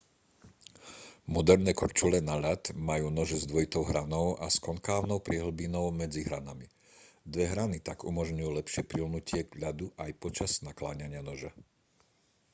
moderné korčule na ľad majú nože s dvojitou hranou a s konkávnou priehlbinou medzi hranami dve hrany tak umožňujú lepšie priľnutie k ľadu aj počas nakláňania noža